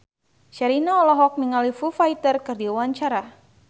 Sherina olohok ningali Foo Fighter keur diwawancara